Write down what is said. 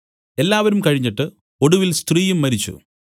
എല്ലാവരും കഴിഞ്ഞിട്ട് ഒടുവിൽ സ്ത്രീയും മരിച്ചു